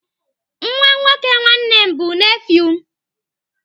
Nwa nwoke nwanne m bụ nefiu m.